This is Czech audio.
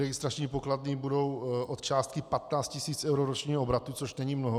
Registrační pokladny budou od částky 15 tisíc eur ročního obratu, což není mnoho.